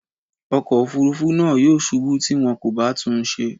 Ọkọ̀ òfurufú náà yóò ṣubú tí wọn kò bá tún un ṣe.